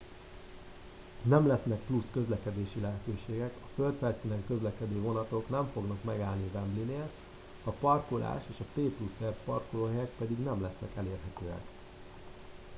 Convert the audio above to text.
nem lesznek plusz közlekedési lehetőségek a földfelszínen közlekedő vonatok nem fognak megállni a wembleynél a parkolás és a p+r parkolóhelyek pedig nem lesznek elérhetőek